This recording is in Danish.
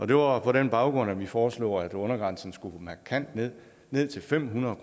det var på den baggrund at vi foreslog at undergrænsen skulle markant ned ned til fem hundrede